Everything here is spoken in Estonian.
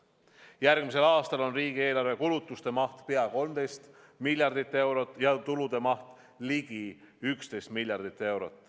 Järgmisel aastal on riigieelarve kulutuste maht pea 13 miljardit eurot ja tulude maht ligi 11 miljardit eurot.